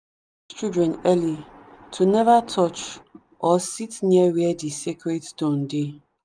them dey teach children early to never touch or sit near where the sacred stone dey.